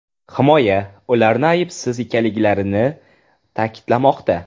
Himoya ularni aybsiz ekanliklarini ta’kidlamoqda.